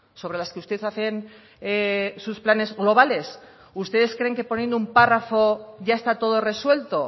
sobre las que usted hacen sus planes globales ustedes creen que poniendo un párrafo ya está todo resuelto